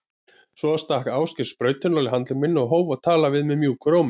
Svo stakk Ásgeir sprautunál í handlegg minn og hóf að tala við mig mjúkum rómi.